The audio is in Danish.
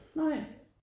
Nej